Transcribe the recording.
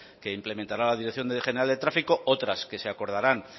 que implementará la dirección general de tráfico otras que se acordarán